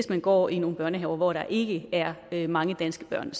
der går i nogle børnehaver hvor der ikke er mange danske børn